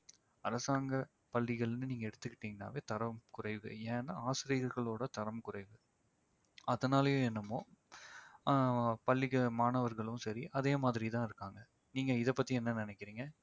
அரசாங்கப் பள்ளிகள்னு நீங்க எடுத்துக்கிட்டிங்கனாவே தரம் குறைவு ஏன்னா ஆசிரியர்களோட தரம் குறைவு அதனாலயோ என்னமோ ஆஹ் பள்ளிக~ மாணவர்களும் சரி அதே மாதிரி தான் இருக்காங்க. நீங்க இத பத்தி என்ன நினைக்கிறீங்க